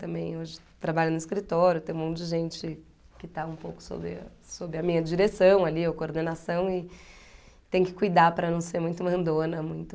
Também hoje trabalho no escritório, tem um monte de gente que está um pouco sobre sobre a minha direção ali, ou coordenação, e tem que cuidar para não ser muito mandona, muito...